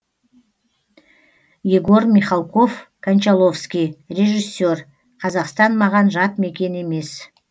егор михалков кончаловский режиссер қазақстан маған жат мекен емес